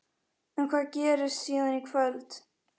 En hvað gerist síðan í kvöld?